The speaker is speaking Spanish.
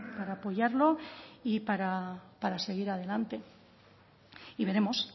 para apoyarlo y para seguir adelante y veremos